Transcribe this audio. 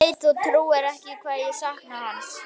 Ég veit þú trúir ekki hvað ég sakna hans.